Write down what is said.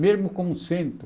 Mesmo como centro.